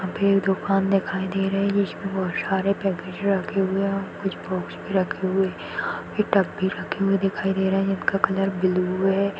यहाँ पे एक दुकान दिखाई दे रही है जिसमे बहुत सारे पैकेज रखे हुए है कुछ बॉक्स भी रखे हुए है और एक टप भी रखे हुए दिखाई दे रहे है जिनका कलर ब्लू है।